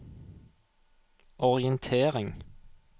orientering